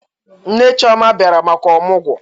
Nne Chioma a biara maka ọmụgwọ